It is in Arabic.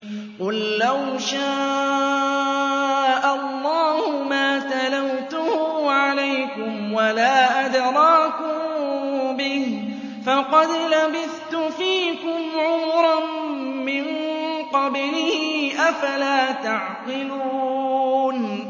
قُل لَّوْ شَاءَ اللَّهُ مَا تَلَوْتُهُ عَلَيْكُمْ وَلَا أَدْرَاكُم بِهِ ۖ فَقَدْ لَبِثْتُ فِيكُمْ عُمُرًا مِّن قَبْلِهِ ۚ أَفَلَا تَعْقِلُونَ